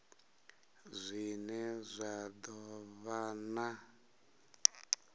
zwine zwa do vha na